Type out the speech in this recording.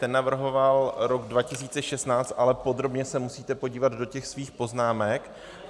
Ten navrhoval rok 2016, ale podrobně se musíte podívat do těch svých poznámek.